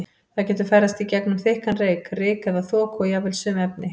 Það getur ferðast í gegnum þykkan reyk, ryk eða þoku og jafnvel sum efni.